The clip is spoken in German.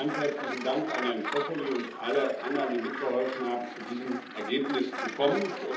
Ganz herzlichen Dank an Herrn Zoffoli und alle anderen, die mitgeholfen haben, zu diesem Ergebnis zu kommen!